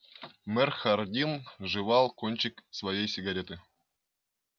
мэр хардин жевал кончик своей сигареты